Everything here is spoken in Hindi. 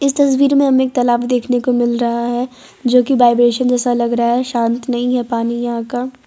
तस्वीर में हमें तालाब देखने को मिल रहा है जो की वाइब्रेशन जैसा लग रहा है शांत नहीं है पानी यहां का।